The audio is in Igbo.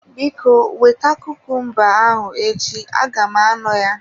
Biko, weta kumumba ahụ echi aga m anọ ya.